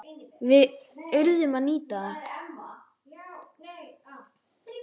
Við urðum að nýta það.